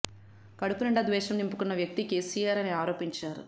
కడుపు నిండా ద్వేషం నింపుకున్న వ్యక్తి కేసీఆర్ అని ఆరోపించారు